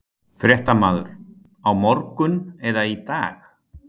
Fréttamaður: Á morgun eða í dag?